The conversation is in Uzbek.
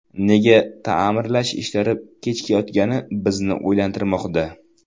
Nega ta’mirlash ishlari kechikayotgani bizni o‘ylantirmoqda.